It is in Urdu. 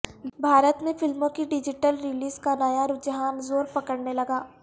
بھارت میں فلموں کی ڈیجیٹل ریلیز کا نیا رجحان زور پکڑنے لگا